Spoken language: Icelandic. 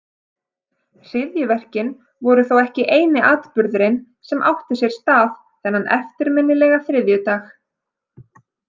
Hryðjuverkin voru þó ekki eini atburðurinn sem átti sér stað þennan eftirminnilega þriðjudag.